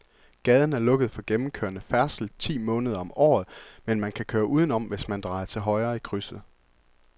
Gaden er lukket for gennemgående færdsel ti måneder om året, men man kan køre udenom, hvis man drejer til højre i krydset.